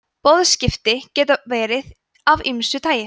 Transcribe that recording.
boðskipti geta verið af ýmsu tagi